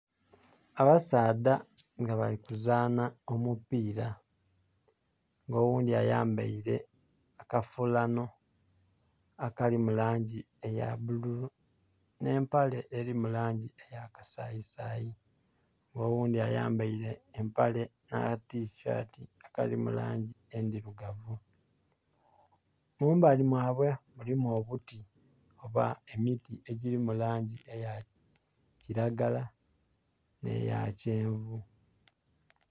Abasaadha nga bali kuzanha omupiira. Oghundhi ayambaile akafulano akali mu langi eya bululu, nh'empale eri mu langi eya kasayisayi. Nga oghundhi ayambaile empale nh'akatisati akali mu langi endirugavu. Mumbali mwabwe mulimu obuti oba emiti egiri mu langi eya kiragala nh'eya kyenvu.